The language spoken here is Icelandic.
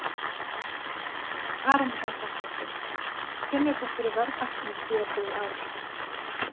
Karen Kjartansdóttir: Finnur þú fyrir verðhækkunum síðastliðið ár?